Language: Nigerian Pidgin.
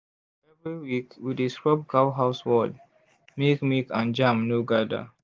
every week we dey scrub cow house wall make milk and germ no gather.